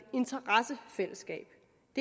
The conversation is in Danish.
interessefællesskab